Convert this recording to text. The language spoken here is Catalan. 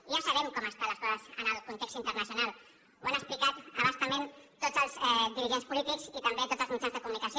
ja sabem com estan les coses en el context internacional ho han explicat a bastament tots els dirigents polítics i també tots els mitjans de comunicació